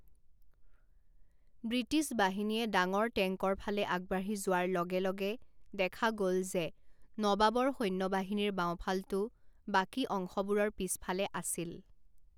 British বাহিনীয়ে ডাঙৰ টেংকৰ ফালে আগবাঢ়ি যোৱাৰ লগে লগে দেখা গ'ল যে নবাবৰ সৈন্যবাহিনীৰ বাওঁফালটো বাকী অংশবোৰৰ পিছফালে আছিল।